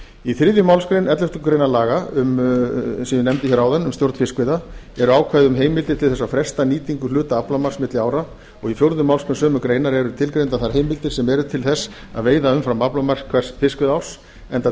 í þriðju málsgrein elleftu grein laga eins og ég nefndi áðan um stjórn fiskveiða eru ákvæði um heimildir til að fresta nýtingu hluta aflamarks milli ára og í fjórðu málsgrein sömu greinar eru tilgreindar þær heimildir sem eru til þess að veiða umfram aflamark hvers fiskveiðiárs enda